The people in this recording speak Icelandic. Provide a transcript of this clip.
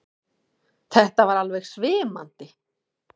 Þetta var alveg svimandi!